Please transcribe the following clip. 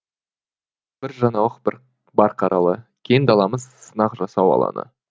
бір жаңалық бар қаралы кең даламыз сынақ жасау алаңы